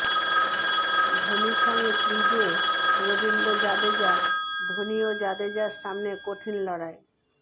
ধোনির সঙ্গে ক্রিজে রবীন্দ্র জাদেজা ধোনি ও জাদেজার সামনে কঠিন লড়াই